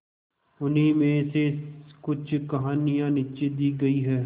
उन्हीं में से कुछ कहानियां नीचे दी गई है